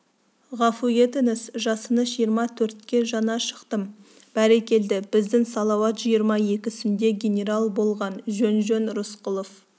ғафу етіңіз жасыңыз жиырма төртке жаңа шықтым бәрекелді біздің салауат жиырма екісінде генерал болған жөн-жөн рысқұлов